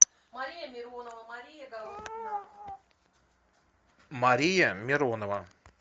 мария миронова